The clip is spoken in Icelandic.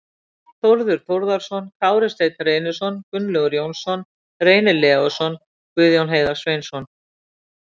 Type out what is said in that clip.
Þórður Þórðarson, Kári Steinn Reynisson, Gunnlaugur Jónsson, Reynir Leósson, Guðjón Heiðar Sveinsson